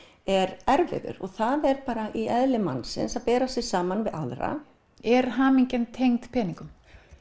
er erfiður það er bara í eðli mannsins að bera sig saman við aðra er hamingjan tengd peningum